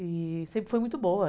E sempre foi muito boa.